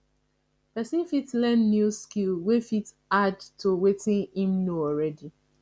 person fit learn new skill wey fit add to wetin im know already